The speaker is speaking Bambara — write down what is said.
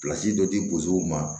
dɔ di ma